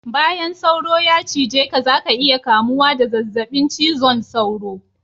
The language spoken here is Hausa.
Bayan sauro ya cije ka zaka iya kamuwa da zazzabin cizon sauro